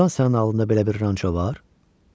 Doğrudan sənin adında belə bir ranço var?